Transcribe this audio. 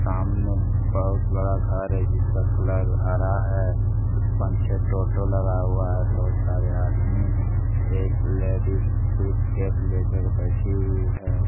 सामने बहुत बड़ा घर है जिसका कलर हरा है पांच छे टोटो लगा हुआ है बहुत सारे आदमी हैं एक लेडिस सूटकेस ले कर बैठी हुई है।